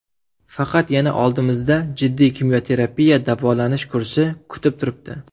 Faqat yana oldimizda jiddiy kimyoterapiya davolanish kursi kutib turibdi.